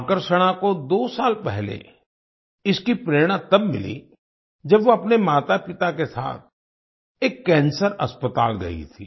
आकर्षणा को दो साल पहले इसकी प्रेरणा तब मिली जब वो अपने मातापिता के साथ एक कैंसर अस्पताल गई थी